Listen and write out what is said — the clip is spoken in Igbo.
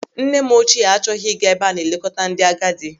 Nne m ochie achọghị ịga ebe a na-eleta ndị agadi.